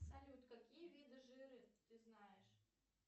салют какие виды жира ты знаешь